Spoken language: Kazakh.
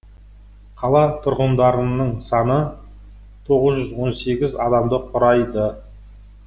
қала тұрғындарының саны тоғыз жүз он сегіз адамды құрайды